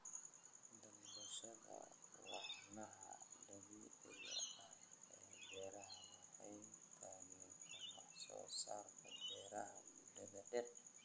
Dalbashada walxaha dabiiciga ah ee beeraha waxay taageertaa wax soo saarka beeraha muddada-dheer.